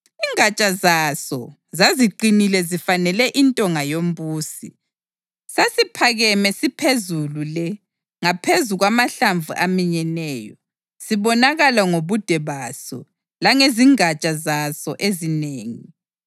Ingatsha zaso zaziqinile zifanele intonga yombusi. Sasiphakeme siphezulu le ngaphezu kwamahlamvu aminyeneyo, sibonakala ngobude baso langezingatsha zaso ezinengi.